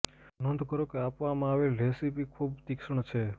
નોંધ કરો કે આપવામાં આવેલ રેસીપી ખૂબ તીક્ષ્ણ છે